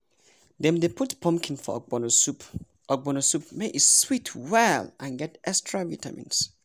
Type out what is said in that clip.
dem dey put pumpkin for ogbono soup ogbono soup make e sweet well and get extra vitamins.